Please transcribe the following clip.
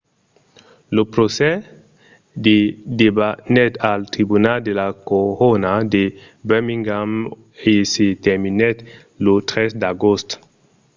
lo procès se debanèt al tribunal de la corona de birmingham e se terminèt lo 3 d’agost